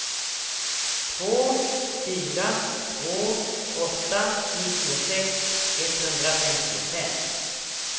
två fyra två åtta nittiosex etthundrafemtiofem